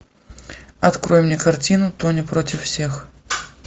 открой мне картину тони против всех